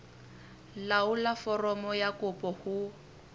laolla foromo ya kopo ho